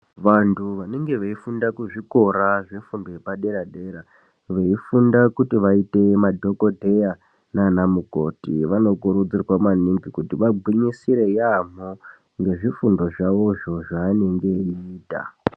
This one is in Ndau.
Vantu vanenge veifunda kuzvikora zvefuundo yepadera dera veifunda kuti vaiite madhokodheya nana mukoti vanokurudzirwa maningi kuti vagwinyisire yaamho ngezvifundo zvawozvo zvaanenge eita.